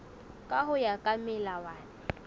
ka ho ya ka melawana